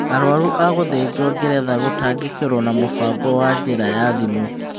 Arũaru a gũthĩnjwo Ngeretha gũtangĩkĩrwo na mũbango wa njĩra ya thimũ